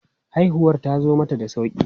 Haihuwar tazo mata da sauƙi.